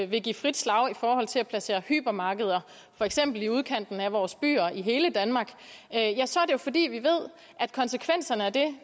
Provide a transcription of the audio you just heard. vil give frit slag i forhold til at placere hypermarkeder for eksempel i udkanten af vores byer i hele danmark ja så er det jo fordi vi ved at konsekvenserne af